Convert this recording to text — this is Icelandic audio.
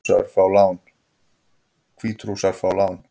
Hvítrússar fá lán